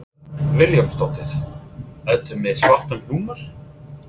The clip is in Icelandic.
Hödd Vilhjálmsdóttir: Ertu með svartan húmor?